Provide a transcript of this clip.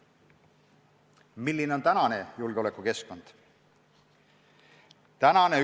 Milline on praegune julgeolekukeskkond?